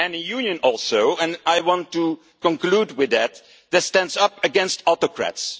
And a Union also and I want to conclude with this that stands up against autocrats.